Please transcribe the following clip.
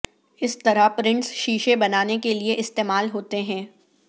اس طرح پرنٹس شیشے بنانے کے لئے استعمال ہوتے ہیں